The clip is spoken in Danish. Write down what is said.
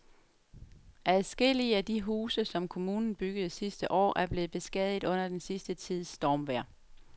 Adskillige af de huse, som kommunen byggede sidste år, er blevet beskadiget under den sidste tids stormvejr.